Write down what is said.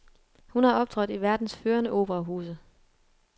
Hun har optrådt i verdens førende operahuse.